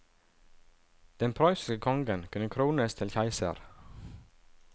Den prøyssiske kongen kunne krones til keiser.